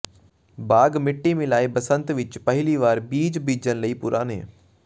ਬਾਗ ਮਿੱਟੀ ਮਿਲਾਏ ਬਸੰਤ ਵਿਚ ਪਹਿਲੀ ਵਾਰ ਬੀਜ ਬੀਜਣ ਲਈ ਪੁਰਾਣੇ